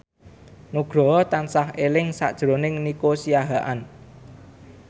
Nugroho tansah eling sakjroning Nico Siahaan